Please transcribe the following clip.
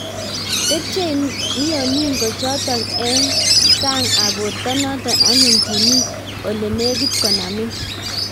Tepchei mioningo chotok eng eng sang ap borto notok anyun kiimi olenegit konamin